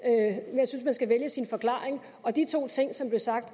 jeg synes man skal vælge sin forklaring og de to ting som blev sagt